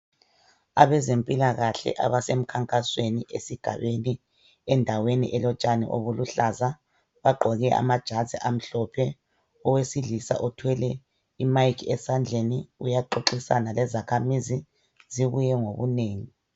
Abezempilakahle abasemkhankasweni esigabeni endaweni elotshani obuluhlaza bagqoke amajazi amhlophe Owesilisa uthwele i mic esandleni uyaxoxisana lezakhamisi zibuye ngobunengi